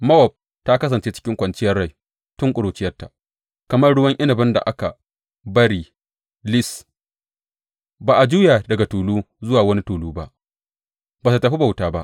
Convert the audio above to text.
Mowab ta kasance cikin kwanciyar rai tun ƙuruciyarta, kamar ruwan inabin da aka bari lis, ba a juya daga tulu zuwa wani tulu ba ba tă tafi bauta ba.